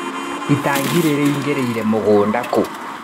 Itinga rĩraingĩrĩire mũgũnda kũ.